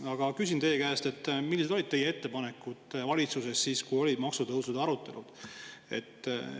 Aga küsin teie käest: millised olid teie ettepanekud valitsuses siis, kui olid maksutõusude arutelud?